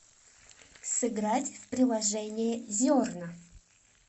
сыграть в приложение зерна